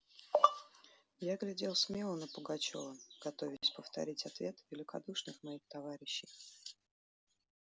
я глядел смело на пугачёва готовясь повторить ответ великодушных моих товарищей